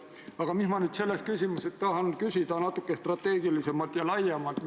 Aga ma tahan sel teemal küsida ka natukene strateegilisemalt, laiemalt.